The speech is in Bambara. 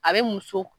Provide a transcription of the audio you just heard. A bɛ muso